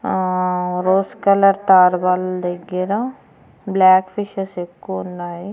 ఆ rose colour తడ్బల్ దగ్గర బ్లాక్ ఫిషెస్ ఎక్కువున్నాయి.